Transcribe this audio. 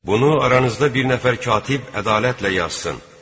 Bunu aranızda bir nəfər katib ədalətlə yazsın.